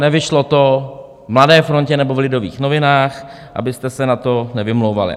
Nevyšlo to v Mladé frontě nebo v Lidových novinách, abyste se na to nevymlouvali.